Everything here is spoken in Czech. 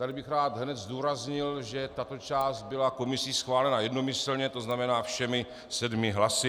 Tady bych rád hned zdůraznil, že tato část byla komisí schválena jednomyslně, to znamená všemi sedmi hlasy.